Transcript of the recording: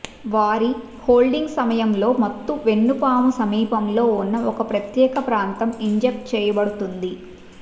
వారి హోల్డింగ్ సమయంలో మత్తు వెన్నుపాము సమీపంలో ఉన్న ఒక ప్రత్యేక ప్రాంతం ఇంజెక్ట్ చేయబడుతుంది